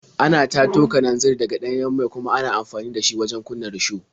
Ana tato kananzir daga ɗanyen mai kuma ana amfani da shi wajen kunna risho.